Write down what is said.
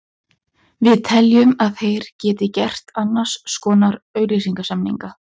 Við teljum að þeir geti gert annars konar auglýsingasamninga.